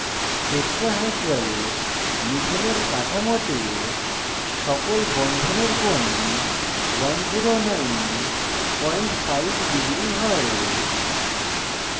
tetrahedral methane কাঠামোতে সকল বন্ধনের কোণ 1095 degree হয়